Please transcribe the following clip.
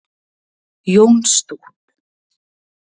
Jónstótt